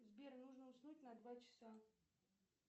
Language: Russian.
сбер нужно уснуть на два часа